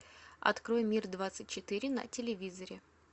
открой мир двадцать четыре на телевизоре